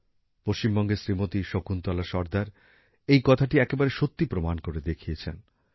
পশ্চিমবঙ্গের শ্রীমতি শকুন্তলা সর্দার এই কথাটি একেবারে সত্যি প্রমাণ করে দেখিয়েছেন